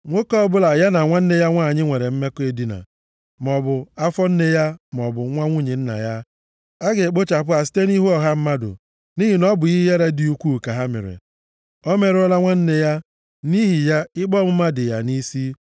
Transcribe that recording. “ ‘Nwoke ọbụla ya na nwanne ya nwanyị nwere mmekọ edina, maọbụ nwa afọ nne ya maọbụ nwa nwunye nna ya, a ga-ekpochapụ ha site nʼihu ọha mmadụ nʼihi na ọ bụ ihe ihere dị ukwuu ka ha mere. Ọ merụọla nwanne ya, nʼihi ya ikpe ọmụma dị ya nʼisi.